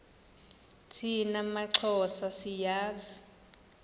thina maxhosa siyazi